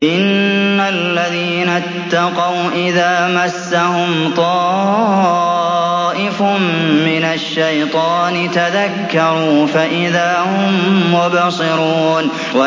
إِنَّ الَّذِينَ اتَّقَوْا إِذَا مَسَّهُمْ طَائِفٌ مِّنَ الشَّيْطَانِ تَذَكَّرُوا فَإِذَا هُم مُّبْصِرُونَ